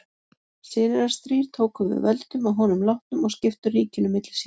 Synir hans þrír tóku við völdum að honum látnum og skiptu ríkinu milli sín.